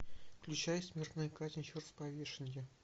включай смертная казнь через повешение